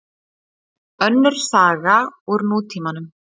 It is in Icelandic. Önnur saga úr nútímanum.